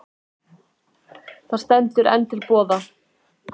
Þér stendur það enn til boða.